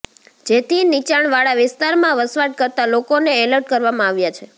જેથી નીચાણવાળા વિસ્તારમાં વસવાટ કરતા લોકોને એલર્ટ કરવામાં આવ્યા છે